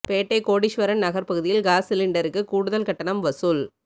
பேட்டை கோடீஸ்வரன் நகர் பகுதியில் காஸ் சிலிண்டருக்கு கூடுதல் கட்டணம் வசூல்